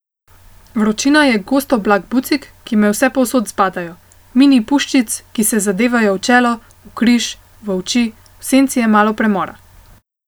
Vročina je gost oblak bucik, ki me vsepovsod zbadajo, mini puščic, ki se zadevajo v čelo, v križ, v oči, v senci je malo premora.